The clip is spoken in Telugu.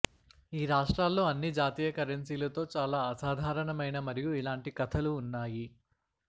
ఈ రాష్ట్రాల్లో అన్ని జాతీయ కరెన్సీలు తో చాలా అసాధారణమైన మరియు ఇలాంటి కథలు ఉన్నాయి